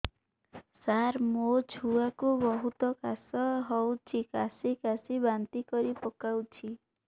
ସାର ମୋ ଛୁଆ କୁ ବହୁତ କାଶ ହଉଛି କାସି କାସି ବାନ୍ତି କରି ପକାଉଛି